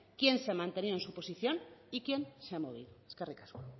quién se ha mantenido en su posición y quien se ha movido eskerrik asko